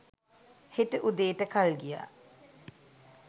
හෙට උදේට කල් ගියා.